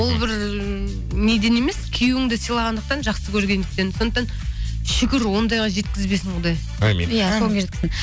ол бір ыыы неден емес күйеуіңді сыйлағандықтан жақсы көргендіктен сондықтан шүкір ондайға жеткізбесін ондай әумин иә